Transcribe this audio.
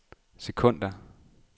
sekunder